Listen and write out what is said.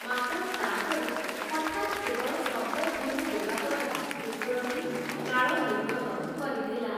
ମାତ୍ର ତା' ପରେ ହଠାତ୍ କେବଳ ଶବ୍ଦଧ୍ୱନି ଦେବା ଦ୍ୱାରା କୁକୁରଟି ଲାଳ ନିର୍ଗତ କରିଥିଲା ।